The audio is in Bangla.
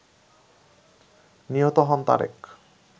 নিহত হন তারেক